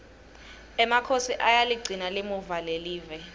emakhosi ayaligcina limuva lelive